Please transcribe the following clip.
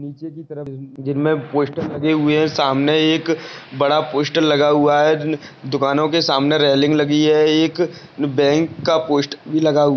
नीचे की तरफ जिनमे पोस्टर लगे हुए हैं सामने एक बड़ा पोस्टर लगा हुआ है दुकानों के सामने रेलिंग लगी है। एक बैंक का पोस्ट भी लगा हु--